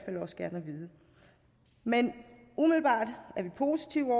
vide men umiddelbart er vi positive